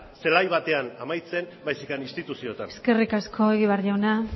zelai batean amaitzen baizik eta instituzioetan eskerri asko egibar jauna